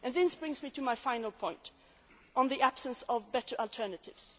EU law. This brings me to my final point, on the absence of better alternatives.